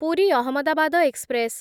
Puri Ahmedabad express